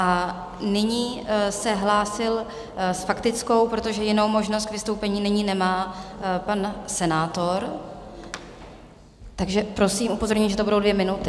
A nyní se hlásil s faktickou, protože jinou možnost k vystoupení nyní nemá, pan senátor, takže, prosím, upozorňuji, že to budou dvě minuty.